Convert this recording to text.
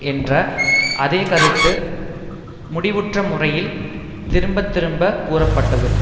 என்ற அதே கருத்து முடிவற்றமுறையில் திரும்ப திரும்பக் கூறப்பட்டது